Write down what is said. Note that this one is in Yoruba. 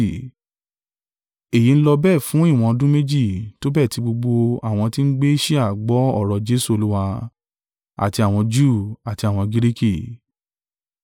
Èyí n lọ bẹ́ẹ̀ fún ìwọ̀n ọdún méjì; tó bẹ́ẹ̀ tí gbogbo àwọn tí ń gbé Asia gbọ́ ọ̀rọ̀ Jesu Olúwa, àti àwọn Júù àti àwọn Giriki.